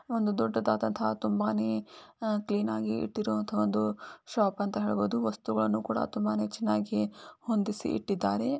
ಒಂದು ದೊಡ್ಡದಾದಂತ ಮತ್ತು ತುಂಬಾನೇ ಕ್ಲೀನ್ ಆಗಿ ಇರುವಂತಹ ಒಂದು ಶಾಪ ಅಂತ ಹೇಳಬಹುದು ವಸ್ತುಗಳನ್ನು ಕೂಡ ತುಂಬಾ ಚೆನ್ನಾಗಿ ಹೊಂದಿಸಿ ಇಟ್ಟಿದ್ದಾರೆ.